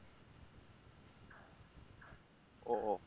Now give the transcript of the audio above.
ও